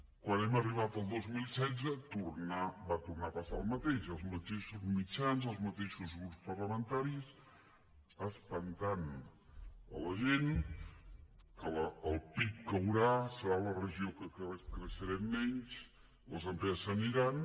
quan vam arribar al dos mil setze va tornar a passar el mateix els mateixos mitjans els mateixos grups parlamentaris espantant la gent que el pib caurà serà la regió que creixerem menys les empreses se n’aniran